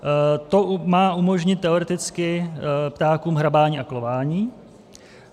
To má umožnit teoreticky ptákům hrabání a klování.